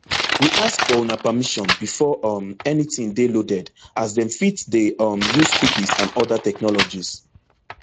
we ask for una permission before um anytin dey loaded as dem fit dey um use cookies and oda technologies